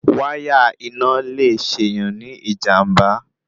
Wáyà iná le ṣèyàn ní ìjànbá